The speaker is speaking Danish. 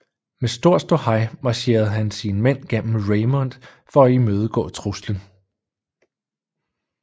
Med stor ståhej marcherede han sine mænd gennem Raymond for at imødegå truslen